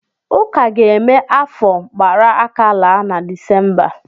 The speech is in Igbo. Ụka ga-eme afa gbara aka laa na Disemba.